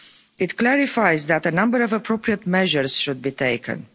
It clarifies that a number of appropriate measures should be taken.